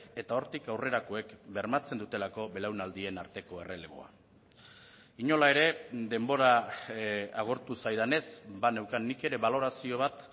eta hortik aurrerakoek bermatzen dutelako belaunaldien arteko erreleboa inola ere denbora agortu zaidanez baneukan nik ere balorazio bat